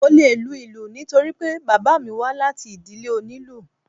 Mo le lu ìlù nítorí pé bàbá mi wá láti ìdílé oní ìlù.